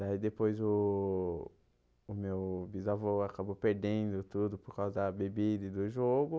Daí depois o o meu bisavô acabou perdendo tudo por causa da bebida e do jogo.